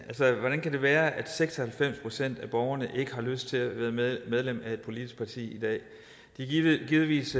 hvordan kan det være at seks og halvfems procent af borgerne ikke har lyst til at være medlem af et politisk parti i dag de er givetvis